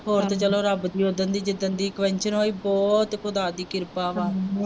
ਹੁਣ ਤਾਂ ਚੱਲੋ ਰੱਬ ਦੀ ਉਹ ਦਿਨ ਦੀ ਜਿ-ਦਿਨ ਦੀ ਹੋਈ ਬਹੁਤ ਖੁਦਾ ਦੀ ਕਿਰਪਾ ਵਾ